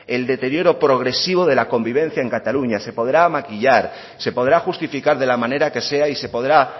el deterioro progresivo de la convivencia en cataluña se podrá maquillar se podrá justificar de la manera que sea y se podrá